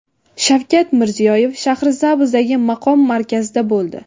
Shavkat Mirziyoyev Shahrisabzdagi maqom markazida bo‘ldi.